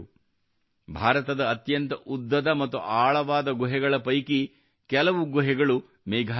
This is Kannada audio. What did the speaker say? ಭಾರತದ ಅತ್ಯಂತ ಉದ್ದದ ಮತ್ತು ಆಳವಾದ ಗುಹೆಗಳ ಪೈಕಿ ಕೆಲವು ಗುಹೆಗಳಲ್ಲಿ ಮೇಘಾಲಯದಲ್ಲಿವೆ